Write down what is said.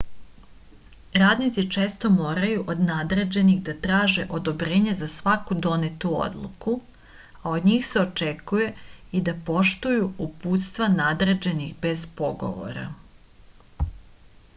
radnici često moraju od nadređenih da traže odobrenje za svaku donetu odluku a od njih se očekuje i da poštuju uputstva nadređenih bez pogovora